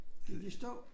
Gik i stå